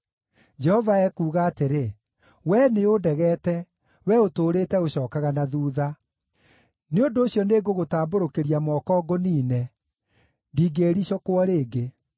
Jehova ekuuga atĩrĩ, “Wee nĩũndegete, wee ũtũũrĩte ũcookaga na thuutha. Nĩ ũndũ ũcio nĩngũgũtambũrũkĩria moko ngũniine; ndingĩĩricũkwo rĩngĩ.